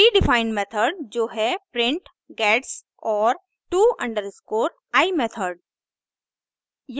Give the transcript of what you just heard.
predefined predefined method जो है print gets और to_i मेथड